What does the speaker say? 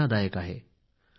मुप्पदु कोडी मुगमुडैयाळ